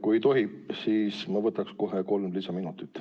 Kui tohib, siis ma võtaks kohe kolm lisaminutit.